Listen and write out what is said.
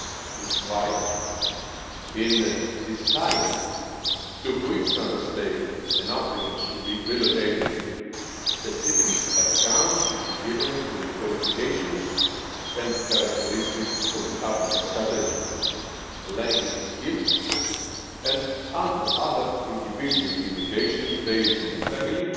This is why, in deciding which Member State an applicant should be relocated to, specific account should be taken of the qualifications and characteristics of the applicant, such as language skills and other individual indications based on family,